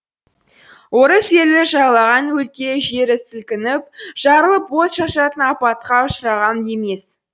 орыс елі жайлаған өлке жері сілкініп жарылып от шашатын апатқа ұшыраған емес